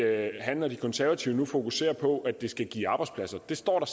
at han og de konservative fokuserer på at det skal give arbejdspladser det står der